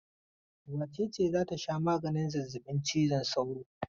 Wace ce za ta sha maganin zazzabin cizon sauro?